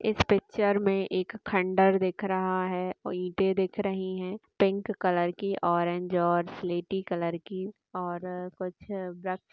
इस पिक्चर में एक खंडर दिख रहा है और ईटें दिख रही है पिंक कलर की ऑरेंज और स्लेटी कलर की और कुछ वृक्ष--